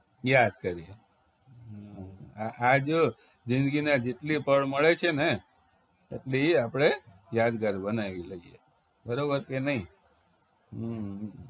યાદ કરી આ જો જિંદગીના જેટલી પળ મળે છે ને એટલી આપણે યાદગાર બનાવી લઈએ બરોબર કે નહિ હમ